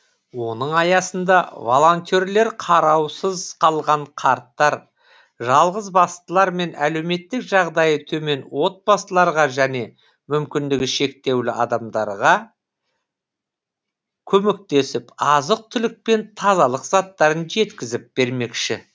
оның аясында волонтерлер қараусыз қалған қарттар жалғызбастылар мен әлеуметтік жағдайы төмен отбасыларға және мүмкіндігі шектеулі адамдарға көмектесіп азық түлік пен тазалық заттарын жеткізіп бермекші